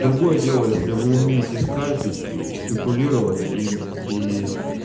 другое дело если вы умеете скальпить и спекулировать и и